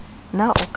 na o ka ba wa